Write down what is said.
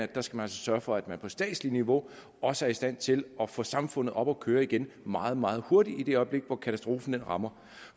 der skal sørge for at man på statsligt niveau også er i stand til at få samfundet op at køre igen meget meget hurtigt i det øjeblik hvor katastrofen rammer